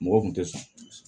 Mɔgɔ kun tɛ sɔn